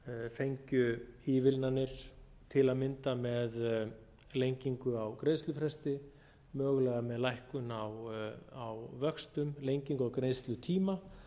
fengju ívilnanir til að mynda með lengingu á greiðslufresti mögulega með lækkun á vöxtum lengingu á greiðslutíma